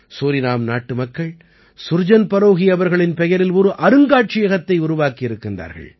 Suriname நாட்டு மக்கள் சுர்ஜன் பரோஹீ அவர்களின் பெயரில் ஒரு அருங்காட்சியகத்தை உருவாக்கியிருக்கின்றார்கள்